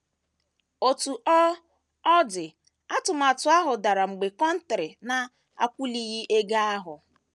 Otú ọ ọ dị, atụmatụ ahụ dara mgbe Contari na - akwụlighị ego ahụ.